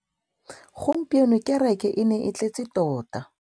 Gompieno kêrêkê e ne e tletse tota.